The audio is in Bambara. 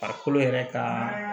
Farikolo yɛrɛ ka